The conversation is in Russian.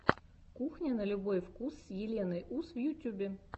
кухня на любой вкус с еленой ус в ютьюбе